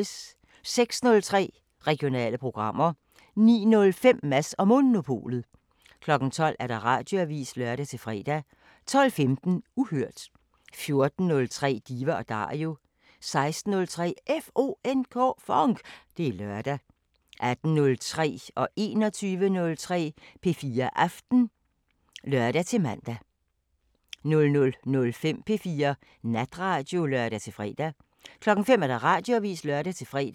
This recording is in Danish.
06:03: Regionale programmer 09:05: Mads & Monopolet 12:00: Radioavisen (lør-fre) 12:15: Uhørt 14:03: Diva & Dario 16:03: FONK! Det er lørdag 18:03: P4 Aften (lør-man) 21:03: P4 Aften (lør-fre) 00:05: P4 Natradio (lør-fre) 05:00: Radioavisen (lør-fre)